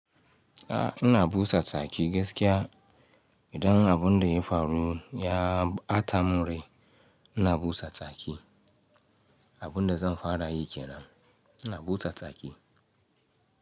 A'a, ina busa tsaki gaskiya. Idan abunda ya faru ya batamin rai, ina busa tsaki. Abunda zan fara yi kenan, ina busa tsaki.